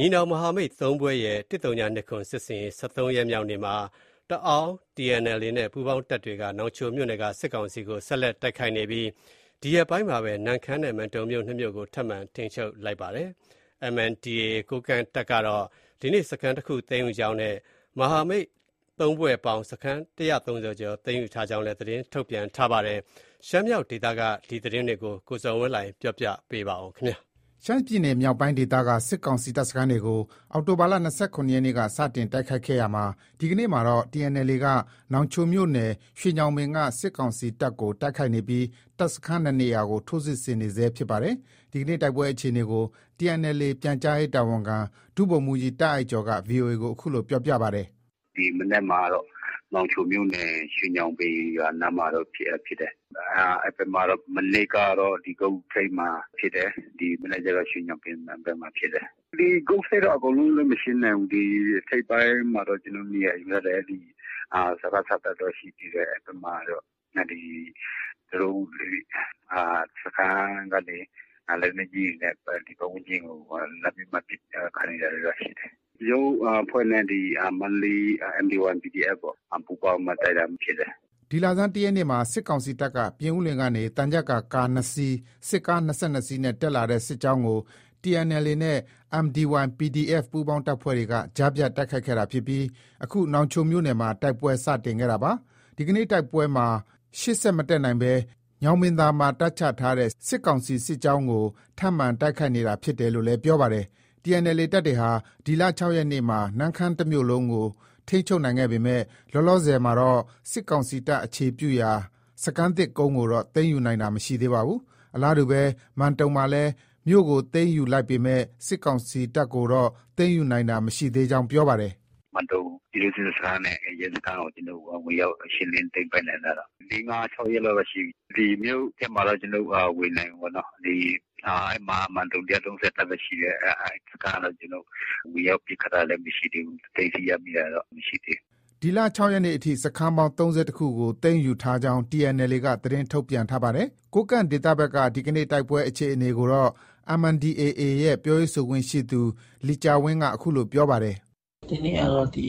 ညီနောင်မဟာမိတ် ၃ဖွဲ့ရဲ့ ၁၀၂၇ စစ်ဆင်ရေး ၁၃ရက် မြောက်နေ့မှာ တအာင်း TNLA နဲ့ ပူးပေါင်းတပ် တွေ က နောင်ချိုမြို့နယ်က စစ်ကောင်စီတပ်ကို ဆက်လက်တိုက်ခိုက်နေပြီး ဒီရက်ပိုင်းမှာပဲ နမ့်ခမ်းနဲ့ မန်တုံမြို့ ၂ မြို့ကို ထပ်မံထိန်းချုပ်လိုက်ပါတယ်။ MNDAA ကိုးကန့်တပ်ကတော့ ဒီနေ့ စခန်းတခု သိမ်းယူကြောင်းနဲ့ မဟာမိတ် ၃ဖွဲ့ပေါင်း စခန်း ၁၃၀ ကျော် သိမ်းယူထားကြောင်းလည်း သတင်း ထုတ်ပြန်ပါတယ်။ ရှမ်းမြောက်ဒေသက နောက်ဆုံးရ တိုက်ပွဲသတင်းတွေကို ကိုဇော်ဝင်းလှိုင်က စုစည်းတင်ပြထားပါတယ်။ ရှမ်းပြည်နယ် မြောက်ပိုင်းဒေသက စစ်ကောင်စီ တပ်စခန်းတွေကို အောက်တိုဘာလ ၂၇ ရက်နေ့ စတင် တိုက်ခိုက်ခဲ့ရာမှာ ဒီကနေ့မှာတော့ TNLA က နောင်ချိုမြို့နယ် ရွှေညောင်ပင်က စစ်ကောင်စီတပ်ကို တိုက်ခိုက်နေပြီး တပ်စခန်း ၂နေရာကို ထိုးစစ်ဆင်နေဆဲ ဖြစ်ပါတယ်။ ဒီကနေ့ တိုက်ပွဲ အခြေအနေကို TNLA ပြန်ကြားရေးတာဝန်ခံ ဒုဗိုလ်မှုးကြီး တာ့အိုက်ကျော်က VOA ကို အခုလို ပြောပါတယ်။ “ ဒီနေ့မှာတော့ နောင်ချိုမြို့နယ် ရွှေညောင်ပင်ရွာနားမှာတော့ ဖြစ်တယ်။ အဲဒီဘက်မှာတော့ မနေ့ကတော့ ဂုတ်ထိပ်မှာ ဖြစ်တယ်။ ဒီမနက်မှာတော့ ရွှေညောင်ပင်မှာဖြစ်တယ်။ ဂုတ်ထိပ်ကတော့ အကုန်လုံးတော့ ကျနော်တို့ မရှင်းနိုင်ဘူး။ ထိပ်ပိုင်းမှာတော့ ကျနော်တို့ နေရာယူထားတယ် ” ဒီလဆန်း ၁ ရက်နေ့မှာ စစ်ကောင်စီတပ်က ပြင်ဦးလွင်ကနေ သံချပ်ကာကား ၂စီး၊ စစ်ကား ၂၂စီးနဲ့ တက်လာတဲ့ စစ်ကြောင်းကို TNLA နဲ့ MDY PDF ပူးပေါင်းအဖွဲ့တွေက ကြားဖြတ်တိုက်ခိုက်ခဲ့တာ ဖြစ်ပြီး အခု နောင်ချိုမြို့နယ်မှာ တိုက်ပွဲစတင်ခဲ့တာပါ။ ဒီကနေ့တိုက်ပွဲမှာ ရှေ့ ဆက်မတက်နိုင်ဘဲ ညောင်ပင်သာမှာ တပ်ချထားတဲ့ စစ်ကောင်စီစစ်ကြောင်းကို ထပ်မံတိုက်ခိုက်နေတာဖြစ်တယ်လို့ လည်း ပြောပါတယ်။ TNLA တပ်တွေဟာ ဒီလ ၆ရက်နေ့မှာ နမ့်ခမ်းတမြို့လုံးကို ထိန်းချုပ်နိုင်ခဲ့ပေမဲ့ လောလောဆည်မှာ တော့ စစ်ကောင်စီတပ်အခြေပြုရာ စခန်းသစ်ကုန်းကိုတော့ သိမ်းယူနိုင်တာ မရှိသေးပါဘူး။ အလားတူပဲ မန်တုံမှာလည်း မြို့ ကို သိမ်းယူလိုက်ပေမဲ့ စစ်ကောင်စီတပ်ကို တော့သိမ်းယူနိုင်သေးတာ မရှိကြောင်းပြောပါတယ်။ “ မန်တုံ ပြည်သူ့စစ်စခန်းနဲ့ ရဲစခန်းကို ဝင်ရောက်သိမ်းပိုက်နိုင်တာတော့ ၄- ၅- ၆ရက် လောက်တော့ ရှိပြီ။ မြို့ထဲမှာတော့ ကျနော်တို့ ဝင်နိုင်ပြီပေါ့နော။ ဒီ အဲဒီမှာက မန်တုံ ၁၃၀ တပ်ရှိတယ်။ အဲဒီ စခန်းကတော့ ကျနော်တု့ိ ဝင်ရောက်ပစ်ခတ်တာလည်း မရှိသေးဘူး။ သိမ်းဆည်းရမိတာတော့ မရှိသေးဘူး။ ” ဒီလ ၆ရက်နေ့အထိ စခန်းပေါင်း ၃၁ ခု ကို သိမ်းယူထားကြောင်း TNLA က သတင်းထုတ်ပြန်ထား ပါတယ်။ ကိုးကန့်ဒေသဘက်က ဒီနေ့ တိုက်ပွဲအခြေအနေကိုတော့ MNDAA ရဲ့ ပြောရေးဆိုခွင့်ရှိသူ လီကျာဝင်းက အခုလို ပြောပါတယ်။ “ ဒီနေ့ကတော့ ဒီ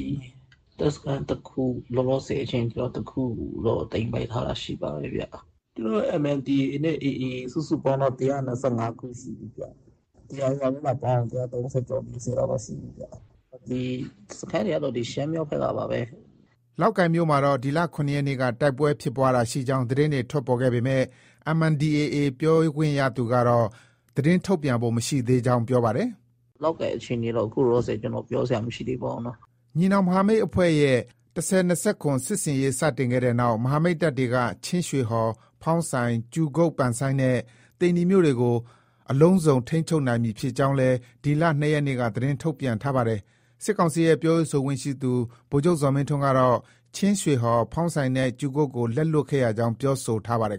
တပ်စခန်းတခု လောလောဆည်အချိန်ထိ တခုကိုတော့ သိမ်းပိုက်ထားတာ ရှိပါတယ်ဗျ။ ကျနောတို့ MNDAA နဲ့ AA စုစုပေါင်း တော့ ၁၂၅ ခု ရှိပြီဗျ။ TNLA နဲ့ပါပေါင်းရင် ၁၃၀ကျော်- ၄၀လောက်တော့ ရှိပြီဗျ။ စခန်းတွေကတော့ ဒီ ရှမ်းမြောက်ဘက်က ပါပဲ။ ” လောက်ကိုင်မြို့အနီး မှာတော့ ဒီလ ၇ရက်နေ့က တိုက်ပွဲဖြစ်ပွားတာ ရှိကြောင်း သတင်းတွေ ထွက်ပေါ်ခဲ့ပေမဲ့ MNDAA ပြောခွင့်ရသူ ကတော့ သတင်းထုတ်ပြန်ဖို့ မရှိသေးကြောင်း ပြောပါတယ်။ “ လောက်ကိုင်အခြေအနေကတော့ အခုလောလောဆည် ကျနော် ပြောစရာ မရှိသေးပါဘူးနော်။” ညီနောင်မဟာမိတ် ၃ဖွဲ့ရဲ့ ၁၀၂၇ စစ်ဆင်ရေး စတင်ခဲ့တဲ့နောက် မဟာမိတ်တပ်တွေက ချင်းရွှေဟော်၊ ဖောင်းဆိုင်၊ ကြူကုတ် နဲ့ သိန္နီမြို့တွေကို အလုံးစုံ ထိန်းချုပ်နိုင်ပြီ ဖြစ်ကြောင်းလည်း ဒီလ ၂ရက်နေ့က သတင်းထုတ် ပြန်ထားပါတယ်။ စစ်ကောင်စီရဲ့ ပြောရေး ဆိုခွင့်ရှိသူ ဗိုလ်ချုပ်ဇော်မင်းထွန်း ကတော့ ချင်းရွှေဟော်၊ ဖေါင်းဆိုင်နဲ့ ကြူကုတ်ကို လက်လွှတ်ခဲ့ရကြောင်း ပြောဆိုထားပါတယ်